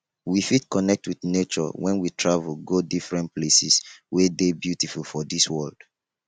we fit connect with nature when we travel go different places wey de beautiful for dis world